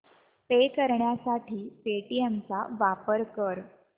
पे करण्यासाठी पेटीएम चा वापर कर